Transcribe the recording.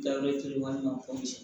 Daworoni ko ci